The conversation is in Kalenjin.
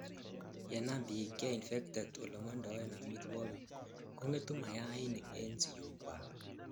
yenam biik cheinfected olemondoen amitwogik, kongetu mayainik en siyook kwak